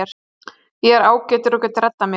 Ég er ágætur og get reddað mér.